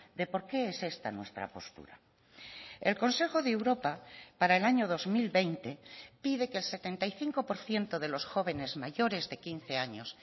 de por qué es esta nuestra postura el consejo de europa para el año dos mil veinte pide que el setenta y cinco por ciento de los jóvenes mayores de quince años